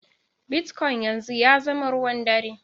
Bitcoin yanzu ya zama ruwan ɗare.